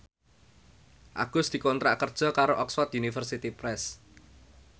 Agus dikontrak kerja karo Oxford University Press